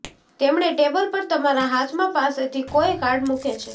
તેમણે ટેબલ પર તમારા હાથમાં પાસેથી કોઇ કાર્ડ મૂકે છે